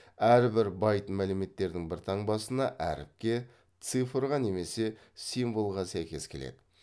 әрбір байт мәліметтердің бір таңбасына әріпке цифрға немесе символға сәйкес келеді